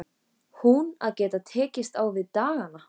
Hún að geta ekki tekist á við dagana.